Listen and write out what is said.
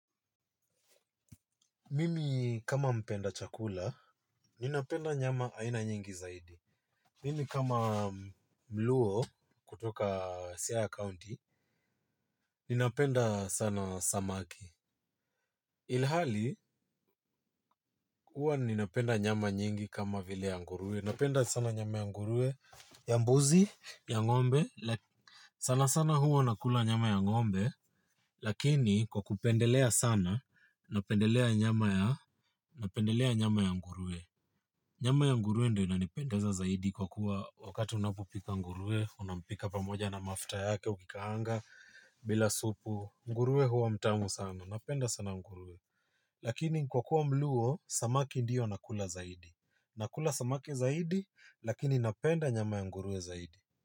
Mimi kama mpenda chakula, ninapenda nyama aina nyingi zaidi. Mimi kama mluo kutoka Siaya County, ninapenda sana samaki. Ilhali, huwa ninapenda nyama nyingi kama vile ya nguruwe. Napenda sana nyama ya nguruwe ya mbuzi ya ng'ombe. Sana sana huwa nakula nyama ya ngombe. Lakini kwa kupendelea sana, napendelea nyama ya nguruwe. Nyama ya nguruwe ndio inanipendeza zaidi kwa kuwa wakati unapopika nguruwe, unampika pamoja na mafuta yake, ukikaanga, bila supu, nguruwe huwa mtamu sana, napenda sana nguruwe. Lakini kwa kuwa mluo, samaki ndio nakula zaidi. Nakula samaki zaidi, lakini napenda nyama ya ngurue zaidi.